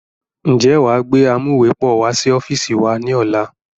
Ń jẹ́ wá gbé amuwepọ̀ wá sí ọ́fíìsì wá ní ọ̀la?